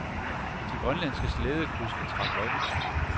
De grønlandske slædekuske trak lod.